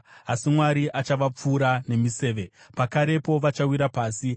Asi Mwari achavapfura nemiseve; pakarepo vachawira pasi.